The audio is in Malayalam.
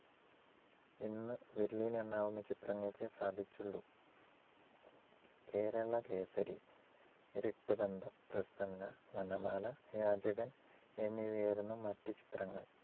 ഇന്നും വിരലിലെണ്ണാവുന്ന ചിത്രങ്ങൾക്കേ സാധിച്ചുള്ളൂ. കേരളകേസരി, രക്തബന്ധം, പ്രസന്ന, വനമാല, യാചകൻ എന്നിവയായിരുന്നു മറ്റു ചിത്രങ്ങൾ.